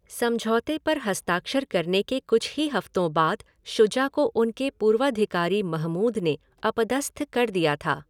समझौते पर हस्ताक्षर करने के कुछ ही हफ्तों बाद शुजा को उनके पूर्वाधिकारी महमूद ने अपदस्थ कर दिया था।